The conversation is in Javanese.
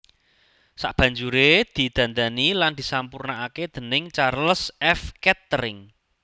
Sabanjuré didandani lan disampurnakaké déning Charles F Kettering